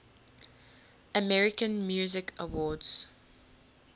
american music awards